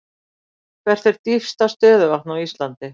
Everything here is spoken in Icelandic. Hvert er dýpsta stöðuvatn á Íslandi?